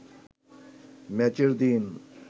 ম্যাচের দিন